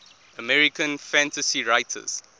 american fantasy writers